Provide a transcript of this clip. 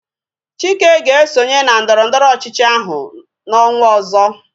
Chike ga-esonye na ndọrọndọrọ ọchịchị ahụ n'ọnwa ọzọ